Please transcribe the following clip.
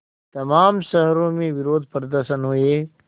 तमाम शहरों में विरोधप्रदर्शन हुए